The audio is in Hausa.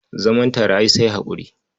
Zaman tare ai sai haƙuri.